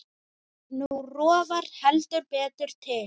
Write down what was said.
Nú rofar heldur betur til.